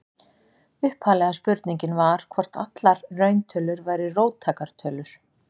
Upphaflega spurningin var hvort allar rauntölur væru róttækar tölur.